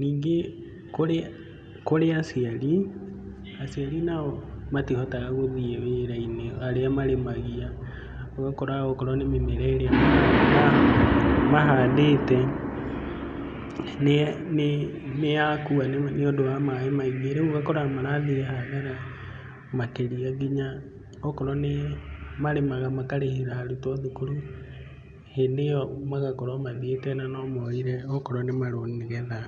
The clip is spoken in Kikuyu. Ningĩ kũrĩ kũrĩ aciari, aciari nao matihotaga gũthiĩ wĩra-inĩ arĩa marĩmagia, ũgakora okorwo nĩ mĩmera ĩrĩa mahandĩte nĩyakua nĩũndũ wa maĩ maingĩ, rĩu ũgakora marathiĩ hathara makĩria nginya okorwo nĩ marĩmaga makarĩhĩra arutwo thukuru, hĩndĩ ĩyo magakorwo mathiĩte na no moire akorwo nĩ marũni nĩgetha.